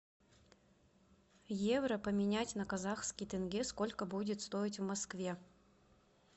евро поменять на казахский тенге сколько будет стоить в москве